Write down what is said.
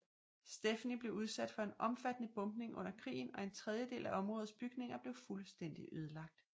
Stepney blev udsat for en omfattende bombning under krigen og en tredjedel af områdets bygninger blev fuldstændig ødelagt